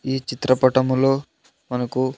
ఈ చిత్రపటములో మనకు.